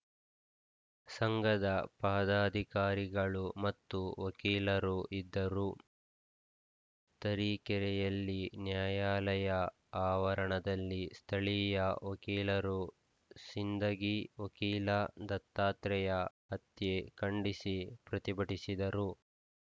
ಸಂಘದ ಪದಾಧಿಕಾರಿಗಳು ಮತ್ತು ವಕೀಲರು ಇದ್ದರು ತರೀಕೆರೆಯಲ್ಲಿ ನ್ಯಾಯಾಲಯ ಆವರಣದಲ್ಲಿ ಸ್ಥಳೀಯ ವಕೀಲರು ಸಿಂದಗಿ ವಕೀಲ ದತ್ತಾತ್ರೇಯ ಹತ್ಯೆ ಖಂಡಿಸಿ ಪ್ರತಿಭಟಿಸಿದರು